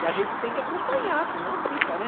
E a gente tem que acompanhar, senão fica, né?